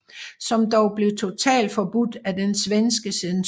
Som dog blev totalforbudt af den svenske censur